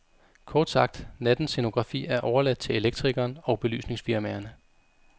Kort sagt, nattens scenografi er overladt til elektrikeren og belysningsfirmaerne.